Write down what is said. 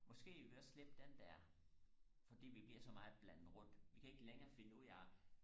måske vil vi også slette den der fordi vi bliver så meget blandet rundt vi kan ikke længere finde ud af og